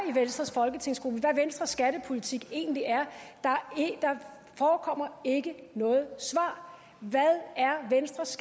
i venstres folketingsgruppe hvad venstres skattepolitik egentlig er der forekommer ikke nogen svar hvad er venstres